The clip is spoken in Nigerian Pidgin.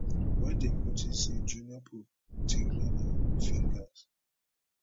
wen dem notice say junior pope tinglin fingers